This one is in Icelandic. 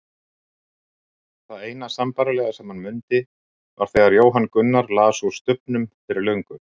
Það eina sambærilega sem hann mundi var þegar Jóhann Gunnar las úr Stubbnum fyrir löngu.